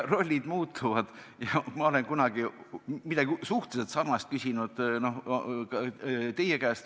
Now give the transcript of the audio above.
Rollid muutuvad, ma olen kunagi midagi suhteliselt sarnast küsinud teie käest.